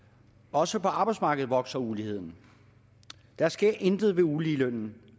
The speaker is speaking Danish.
også på arbejdsmarkedet vokser uligheden der sker intet uligelønnen